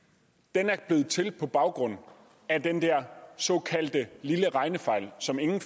er blevet til på baggrund af den der såkaldte lille regnefejl som ingen